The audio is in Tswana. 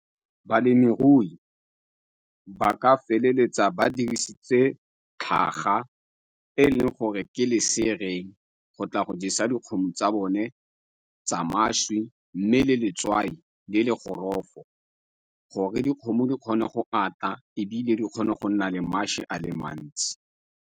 Balemirui ba ka feleletsa ba dirisitse tlhaga e leng gore ke go tla go jesa dikgomo tsa bone tsa mašwi mme le letswai di le go gorofo gore dikgomo di kgone go ata ebile di kgone go nna le mašwi a le mantsi.